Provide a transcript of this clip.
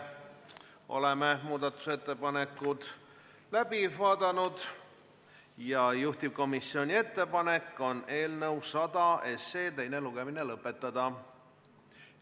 Oleme muudatusettepanekud läbi vaadanud ja juhtivkomisjoni ettepanek on eelnõu 100 teine lugemine lõpetada.